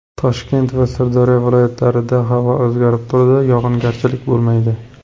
Toshkent va Sirdaryo viloyatlarida havo o‘zgarib turadi, yog‘ingarchilik bo‘lmaydi.